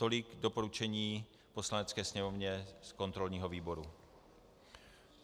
Tolik doporučení Poslanecké sněmovně z kontrolního výboru.